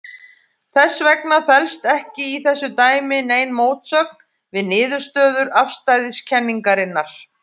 Þess vegna felst ekki í þessu dæmi nein mótsögn við niðurstöður afstæðiskenningarinnar.